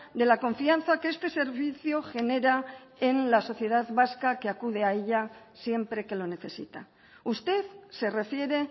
de la confianza que este servicio genera en la sociedad vasca que acude a ella siempre que lo necesita usted se refiere